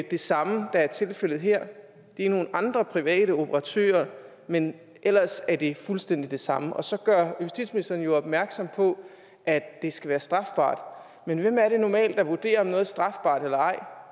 det samme der er tilfældet her det er nogle andre private operatører men ellers er det fuldstændig det samme og så gør justitsministeren jo opmærksom på at det skal være strafbart men hvem er det der normalt vurderer om noget er strafbart eller ej